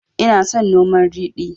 Ina son noman ridi